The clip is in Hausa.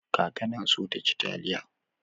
Kaka na so taci taliya.